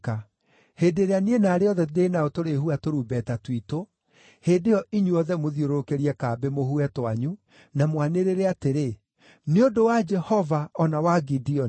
Hĩndĩ ĩrĩa niĩ na arĩa othe ndĩ nao tũrĩhuha tũrumbeta twitũ, hĩndĩ ĩyo inyuothe mũthiũrũrũkĩirie kambĩ mũhuhe twanyu na mwanĩrĩre atĩrĩ, ‘Nĩ ũndũ wa Jehova o na wa Gideoni.’ ”